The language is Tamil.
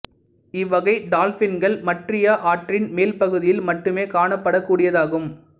இவ்வகை டால்பின்கள் மட்ரியா ஆற்றின் மேல் பகுதியில் மட்டுமே காணப் படக் கூடியதாகும்